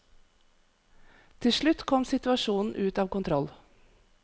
Til slutt kom situasjonen ut av kontroll.